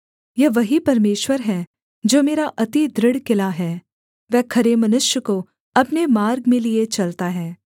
यह वही परमेश्वर है जो मेरा अति दृढ़ किला है वह खरे मनुष्य को अपने मार्ग में लिए चलता है